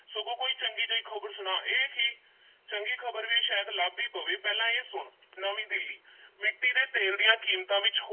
ਸਗੋਂ ਕੋਈ ਚੰਗੀ ਜਿਹੀ ਖ਼ਬਰ ਸੁਣਾ ਇਹ ਕੀ ਚੰਗੀ ਖ਼ਬਰ ਵੀ ਸ਼ਾਇਦ ਲੱਭ ਈ ਪਵੇ ਪਹਿਲਾਂ ਇਹ ਸੁਣ, ਨਵੀਂ ਦਿੱਲੀ ਮਿੱਟੀ ਦੇ ਤੇਲ ਦੀਆਂ ਕੀਮਤਾਂ ਵਿੱਚ